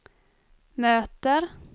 möter